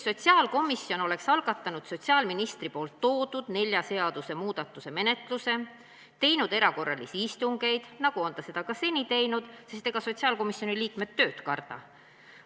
Sotsiaalkomisjon oleks algatanud sotsiaalministri toodud nelja seaduse muutmise menetluse, teinud erakorralisi istungeid, nagu ta on seda ka seni teinud, sest ega sotsiaalkomisjoni liikmed tööd karda.